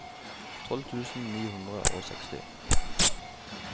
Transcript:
tolv tusen ni hundre og seksti